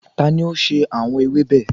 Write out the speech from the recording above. Tani o ṣe awọn ewébe?